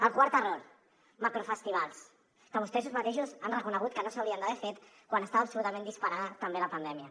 el quart error macrofestivals que vostès mateixos han reconegut que no s’haurien d’haver fet quan estava absolutament disparada també la pandèmia